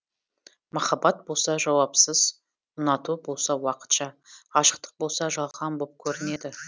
махаббат болса жауапсыз ұнату болса уақытша ғашықтық болса жалған боп көрінеді